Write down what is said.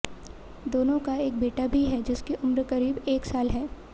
दोनों का एक बेटा भी है जिसकी उम्र करीब एक साल है